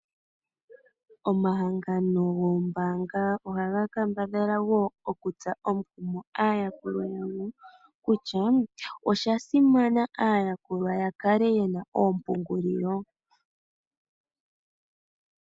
Omahangano goombaanga ohaga kambadhala wo okutsa omukumo aayakuli kutya osha simana aayakulwa yakale yena oompungulilo.